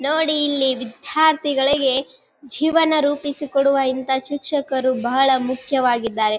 ನೋಡಿ ಇಲ್ಲಿ ವಿದ್ಯಾರ್ಥಿಗಳಿಗೆ ಜೀವನ ರೂಪಿಸಿಕೊಡುವ ಇಂತ ಶಿಕ್ಶಕರು ಬಹಳ ಮುಖ್ಯವಾಗಿದ್ದಾರೆ.